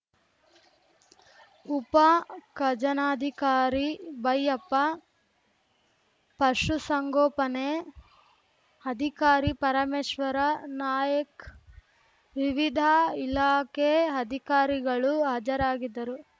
ಉಪ ಖಜನಧಿಕಾರಿ ಬೈಯಪ್ಪ ಪಶುಸಂಗೋಪನೆ ಅಧಿಕಾರಿ ಪರಮೇಶ್ವರ ನಾಯಕ್ ವಿವಿಧ ಇಲಾಖೆ ಅಧಿಕಾರಿಗಳು ಹಾಜರಾಗಿದ್ದರು